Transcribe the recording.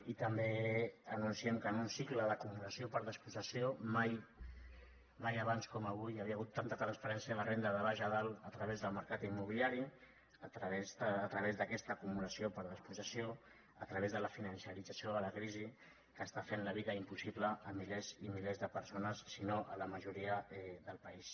i també anunciem que en un cicle d’acumulació per despossessió mai mai abans com avui hi havia hagut tanta transferència de renda de baix a dalt a través del mercat immobiliari a través d’aquesta acumulació per despossessió a través de la finançarització de la crisi que està fent la vida impossible a milers i milers de persones si no a la majoria del país